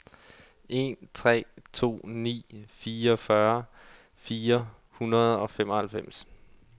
en tre to ni fireogfyrre fire hundrede og femoghalvfems